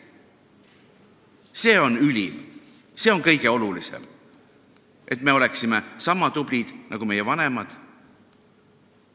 See on ülim, see on kõige olulisem, et me oleksime sama tublid nagu meie vanemad.